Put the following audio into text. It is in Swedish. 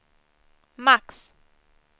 max